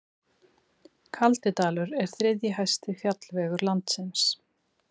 Kaldidalur er þriðji hæsti fjallvegur landsins.